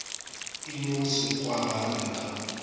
e no se kwagale ka